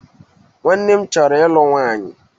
Nwanne m chọrọ ịlụ nwanyị.